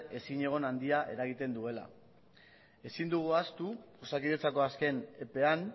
ezinegon handia eragiten duela ezin dugu ahaztu osakidetzako azken epean